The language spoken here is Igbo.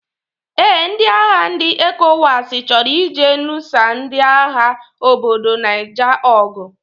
Ee, ndị agha ndị ECOWAS chọrọ ije nusa ndị agha obodo Naija ọgụ.